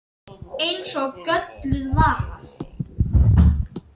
Eins og gölluð vara.